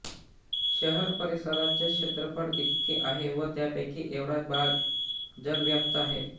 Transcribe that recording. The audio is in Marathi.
शहर परिसराचे क्षेत्रफळ इतके आहे व त्यापैकी एवढा भाग जलव्याप्त आहे